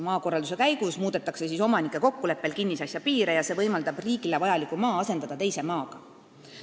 Maakorralduse käigus muudetakse kokkuleppel omanikuga kinnisasja piire ja see võimaldab riigile vajaliku maa asendada teise maaga.